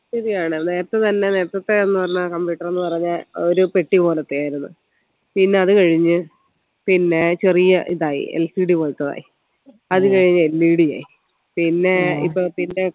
ശരിയാണല്ലേ നേരത്തെ തന്നെ നേരത്തത്തെ ന്ന് പറഞ്ഞ computer ന്ന് പറഞ്ഞ ഒരു പെട്ടി പോലത്തെയായിരുന്നു പിന്നെ അത് കഴിഞ്ഞു പിന്നെ ചെറിയ ഇതായി LCD പോലത്തെ ആയി അത് കഴിഞ്ഞ് LED ആയി പിന്നേ ഇപ്പൊ പിന്നെ